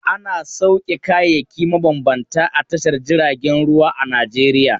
Ana sauke kayayyaki mabambanta a tashar jiragen ruwa a Najeriya.